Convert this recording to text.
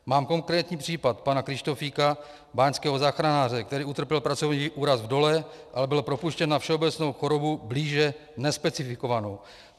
Mám konkrétní případ pana Kryštofíka, báňského záchranáře, který utrpěl pracovní úraz v dole, ale byl propuštěn na všeobecnou chorobu blíže nespecifikovanou.